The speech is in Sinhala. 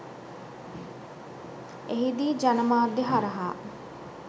එහිදී ජනමාධ්‍ය හරහා